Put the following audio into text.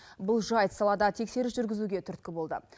бұл жайт салада тексеріс жүргізуге түрткі болды